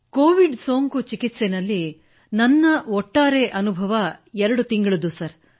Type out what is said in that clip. Covid ಸೋಂಕು ಚಿಕಿತ್ಸೆಯಲ್ಲಿ ನನ್ನ ಒಟ್ಟಾರೆ ಅನುಭವ 2 ತಿಂಗಳದ್ದು ಸರ್